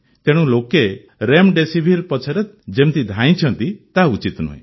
ତେଣୁ ଲୋକେ ରେମ୍ଡେସିଭିର ପଛରେ ଯେମିତି ଧାଇଁଛନ୍ତି ତାହା ଉଚିତ ନୁହେଁ